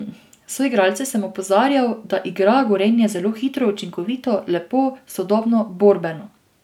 Soigralce sem opozarjal, da igra Gorenje zelo hitro, učinkovito, lepo, sodobno, borbeno...